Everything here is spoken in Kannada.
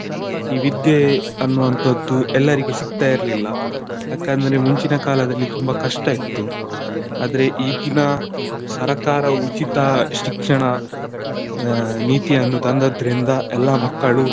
ಈ ವಿದ್ಯೆ ಅನ್ನುವಂಥದ್ದು ಎಲ್ಲರಿಗೆ ಸಿಕ್ತಾ ಇರ್ಲಿಲ್ಲ, ಯಾಕಂದ್ರೆ ಮುಂಚಿನ ಕಾಲದಲ್ಲಿ ತುಂಬಾ ಕಷ್ಟ ಇತ್ತು, ಆದ್ರೆ ಈಗಿನ ಸರಕಾರ ಉಚಿತ ಶಿಕ್ಷಣ ನೀತಿಯನ್ನು ತಂದದ್ರಿಂದ ಎಲ್ಲಾ ಮಕ್ಕಳು.